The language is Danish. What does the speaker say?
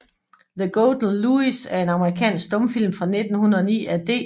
The Golden Louis er en amerikansk stumfilm fra 1909 af D